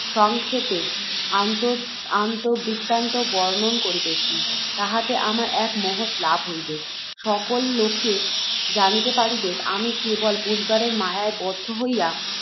সংক্ষেপে আত্মবৃত্তান্ত বর্ণন করিতেছি। তাহাতে আমার এক মহৎ লাভ হইবেক। সকল লোকে জানিতে পারিবেক, আমি, কেবল পরিবারের মায়ায় বদ্ধ হইয়া